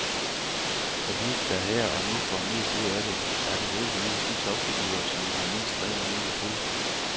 For de, der her og nu får mest ud af det, er begribeligvis de topfigurer, som har mindst rent mel i posen.